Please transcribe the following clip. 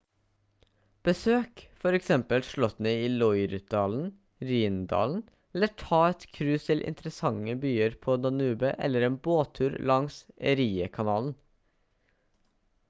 besøk for eksempel slottene i loire-dalen rhine-dalen eller ta et cruise til interessante byer på danube eller en båttur langs erie-kanalen